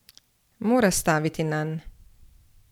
Mora staviti nanj!